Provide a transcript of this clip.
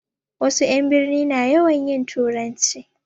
Wasu 'yan birni na yawan yin turanci